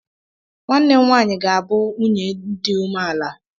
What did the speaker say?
Nwanne m nwanyi ga-abụ nwunye di umeala.